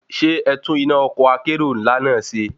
Ṣé ẹtún iná ọkọ̀ akérò ńlá náà ṣe?